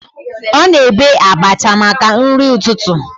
Ọ na-ebe abacha maka nri ụtụtụ